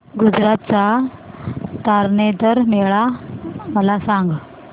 गुजरात चा तारनेतर मेळा मला सांग